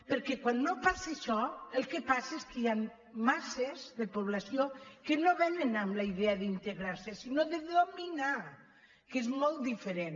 perquè quan no passa això el que passa és que hi han masses de po·blació que no vénen amb la idea d’integrar·se sinó de dominar que és molt diferent